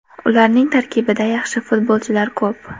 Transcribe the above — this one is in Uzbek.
Ularning tarkibida yaxshi futbolchilar ko‘p.